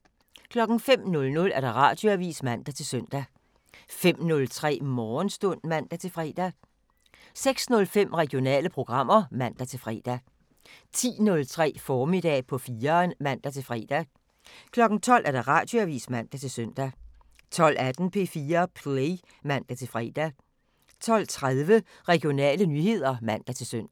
05:00: Radioavisen (man-søn) 05:03: Morgenstund (man-fre) 06:05: Regionale programmer (man-fre) 10:03: Formiddag på 4'eren (man-fre) 12:00: Radioavisen (man-søn) 12:18: P4 Play (man-fre) 12:30: Regionale nyheder (man-søn)